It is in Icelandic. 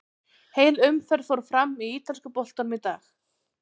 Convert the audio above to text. Heil umferð fór fram í ítalska boltanum í dag.